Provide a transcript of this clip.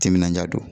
Timinandiya don